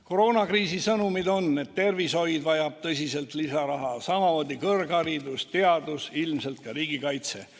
Koroonakriisi sõnumid on, et tervishoid vajab tõsiselt lisaraha, samamoodi kõrgharidus, teadus, ilmselt ka riigikaitse.